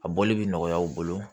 A bɔli bɛ nɔgɔya aw bolo